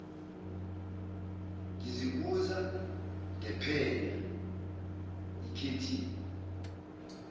ngizibuza ngiphenya ikhethihi